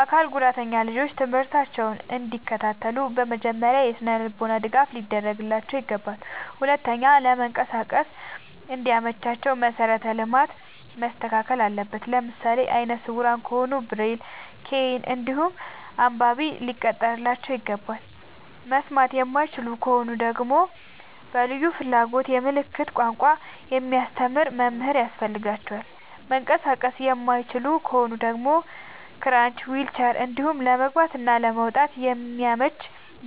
አካል ጉዳተኛ ልጆች ትምህርታቸውን እንዲ ከታተሉ መጀመሪያ የስነልቦና ድገፍ ሊደረግላቸው ይገባል። ሁለተኛ ለመንቀሳቀስ እንዲ መቻቸው መሰረተ ልማት መስተካከል አለበት። ለምሳሌ አይነስውራ ከሆኑ ብሬል ከይን እንዲሁም አንባቢ ሊቀጠርላቸው ይገባል። መስማት የማይችሉ ከሆኑ ደግመሞ በልዩ ፍላጎት የምልክት ቋንቋ የሚያስተምር መምህር ያስፈልጋቸዋል። መንቀሳቀስ የማይችሉ ከሆኑ ደግሞ ክራች ዊልቸር እንዲሁም ለመግባት እና ለመውጣት የሚያመች